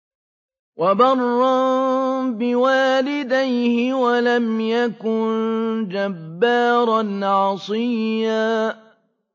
وَبَرًّا بِوَالِدَيْهِ وَلَمْ يَكُن جَبَّارًا عَصِيًّا